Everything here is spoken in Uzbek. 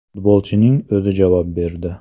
Futbolchining o‘zi javob berdi.